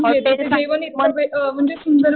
hotels